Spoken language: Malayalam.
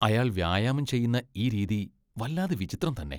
അയാൾ വ്യായാമം ചെയ്യുന്ന ഈ രീതി വല്ലാതെ വിചിത്രം തന്നെ.